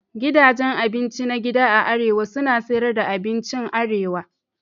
Gidajen abinci na gida a arewa suna siyar da abincin arewa.